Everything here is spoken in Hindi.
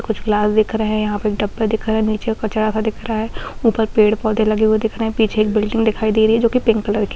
कुछ ग्लास दिख रहे हैं यहाँ पे डब्बे दिख रहे है नीचे कचड़ा सा दिख रहा है ऊपर पेड़-पौधे लगे हुए दिखाई दे रहे है पीछे एक बिल्डिंग दिखाई दे रही है जो की पिंक कलर की --